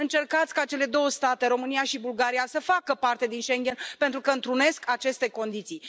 Încercați ca cele două state, România și Bulgaria, să facă parte din Schengen, pentru că întrunesc aceste condiții.